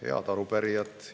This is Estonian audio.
Head arupärijad!